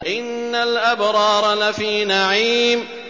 إِنَّ الْأَبْرَارَ لَفِي نَعِيمٍ